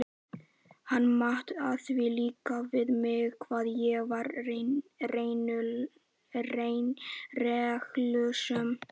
Hann mat það líka við mig hvað ég var reglusöm.